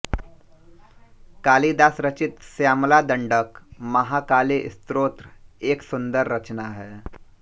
कालिदास रचित श्यामला दंडक महाकाली स्तोत्र एक सुंदर रचना है